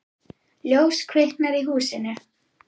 Ljós kviknar í húsinu.